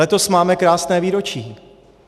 Letos máme krásné výročí.